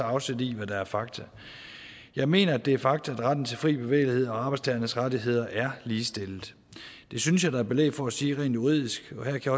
afsæt i hvad der er fakta jeg mener at det er fakta at retten til fri bevægelighed og arbejdstagernes rettigheder er ligestillet det synes jeg der er belæg for at sige rent juridisk og her kan